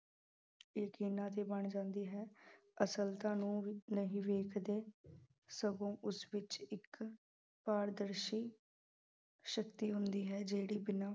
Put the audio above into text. ਯਕੀਨਾਂ ਦੀ ਬਣ ਜਾਂਦੀ ਹੈ ਅਸਲਤਾ ਨੂੰ ਨਹੀਂ ਵੇਖਦੇ ਸਗੋਂ ਉਸ ਵਿੱਚ ਇੱਕ ਪਾਰਦਰਸ਼ੀ ਸ਼ਕਤੀ ਹੁੰਦੀ ਹੈ ਜਿਹੜੀ ਬਿਨਾਂ